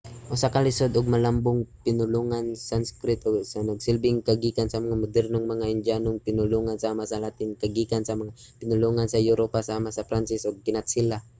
usa ka lisod ug malambong pinulungan ang sanskrit nga nagsilbing kagikan sa mga modernong mga indyanong pinulongan sama sa latin nga kagikan sa mga pinulungan sa europa sama sa pranses ug kinatsila